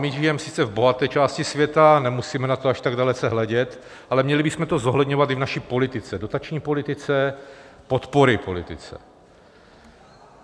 My žijeme sice v bohaté části světa, nemusíme na to až tak dalece hledět, ale měli bychom to zohledňovat i v naší politice, dotační politice, podpory politice.